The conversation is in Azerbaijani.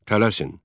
Tələsin.